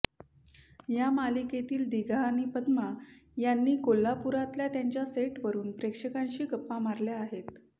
या मालिकेतील दिघा आणि पद्मा यांनी कोल्हापुरातल्या त्यांच्या सेटवरून प्रेक्षकांशी गप्पा मारल्या आहेत